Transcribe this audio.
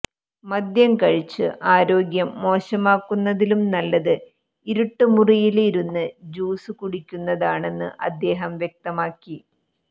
മദ്യം കഴിച്ച് ആരോഗ്യം മോശമാക്കുന്നതിലും നല്ലത് ഇരുട്ട് മുറിയില് ഇരുന്ന് ജ്യൂസ് കുടിക്കുന്നതാണെന്ന് അദ്ദേഹം വ്യക്തമാക്കി